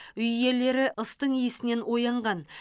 үй иелері ыстың иісінен оянған